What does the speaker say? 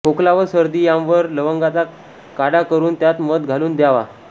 खोकला व सर्दी यांवर लवंगाचा काढा करून त्यात मध घालून दयावा